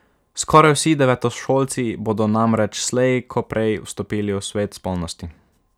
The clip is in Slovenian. Skoraj vsi devetošolci bodo namreč slej ko prej vstopili v svet spolnosti.